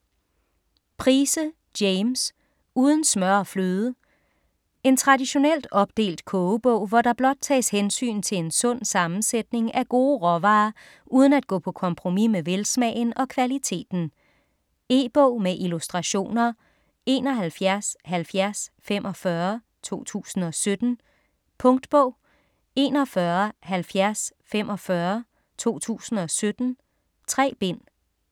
Price, James: Uden smør og fløde En traditionelt opdelt kogebog, hvor der blot tages hensyn til en sund sammensætning af gode råvarer uden at gå på kompromis med velsmagen og kvaliteten. E-bog med illustrationer 717045 2017. Punktbog 417045 2017. 3 bind.